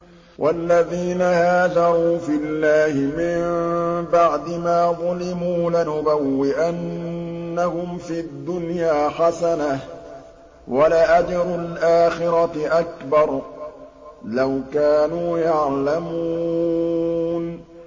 وَالَّذِينَ هَاجَرُوا فِي اللَّهِ مِن بَعْدِ مَا ظُلِمُوا لَنُبَوِّئَنَّهُمْ فِي الدُّنْيَا حَسَنَةً ۖ وَلَأَجْرُ الْآخِرَةِ أَكْبَرُ ۚ لَوْ كَانُوا يَعْلَمُونَ